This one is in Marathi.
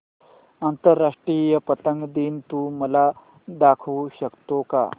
आंतरराष्ट्रीय पतंग दिन तू मला दाखवू शकतो का